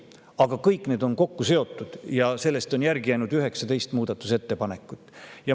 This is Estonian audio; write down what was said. Aga on kokku seotud ja sellest on järgi jäänud 19 muudatusettepanekut.